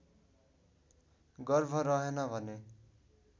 गर्भ रहेन भने